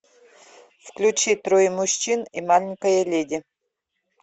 включи трое мужчин и маленькая леди